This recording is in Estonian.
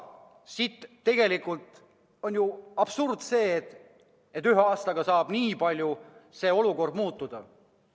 Tegelikult on ju absurd, et ühe aastaga saab olukord nii palju muutuda.